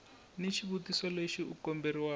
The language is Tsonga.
ni xitiviso lexi u komberiwa